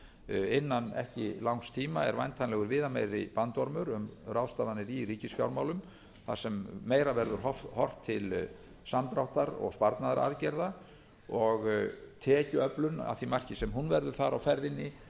innan ekki langs tíma er væntanlegur viðameiri bandormur um ráðstafanir í ríkisfjármálum þar sem meira verður horft til samdráttar og sparnaðaraðgerða og tekjuöflun að því marki sem hún verður þar á ferðinni